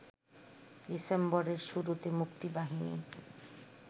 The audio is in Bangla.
ডিসেম্বরের শুরুতে মুক্তিবাহিনী